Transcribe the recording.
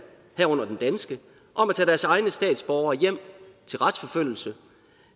herunder den danske om at tage deres egne statsborgere hjem til retsforfølgelse